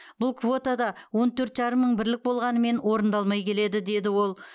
бұл квотада он төрт жарым мың бірлік болғанымен орындалмай келеді деді ол